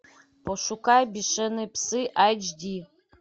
пошукай бешеные псы эйч ди